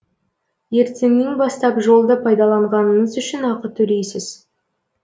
ертеңнен бастап жолды пайдаланғаныңыз үшін ақы төлейсіз